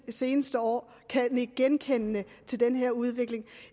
seneste år kan nikke genkendende til den her udvikling